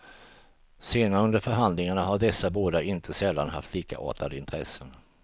Senare under förhandlingarna har dessa båda inte sällan haft likartade intressen.